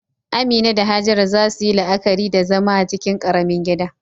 Amina da Hajara za su yi la'akari da zama a cikin ƙaramin gida.